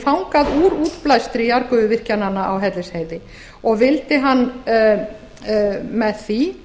fangað úr útblæstri jarðgufuvirkjananna á hellisheiði og vildi hann með því